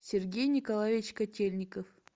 сергей николаевич котельников